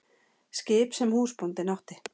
Skip sem húsbóndinn átti?